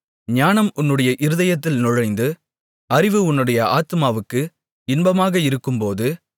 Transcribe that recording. ஞானம் உன்னுடைய இருதயத்தில் நுழைந்து அறிவு உன்னுடைய ஆத்துமாவுக்கு இன்பமாக இருக்கும்போது